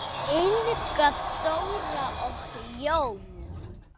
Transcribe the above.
Inga Dóra og Jón.